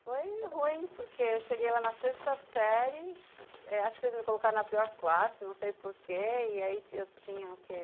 Foi ruim, porque eu cheguei lá na sexta série, acho que eh eles me colocaram na pior classe, não sei porquê, e aí eu eu tinha o quê?